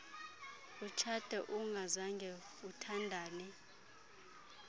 utshate ungazange uthandane